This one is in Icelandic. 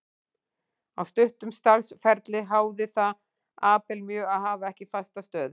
Á stuttum starfsferli háði það Abel mjög að hafa ekki fasta stöðu.